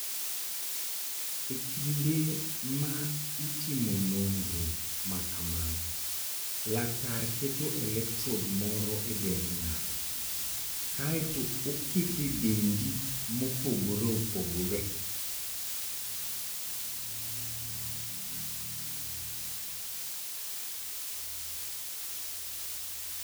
E kinde ma itimo nonro ma kamano, laktar keto electrode moro e dend ng'ato, kae to oketo e dendi mopogore opogore.